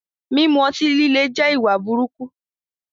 Mímú ọ̀tí-lílẹ̀ jẹ́ ìwà búburú